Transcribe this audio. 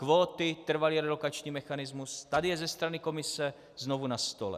Kvóty, trvalý relokační mechanismus tady je ze strany Komise znovu na stole.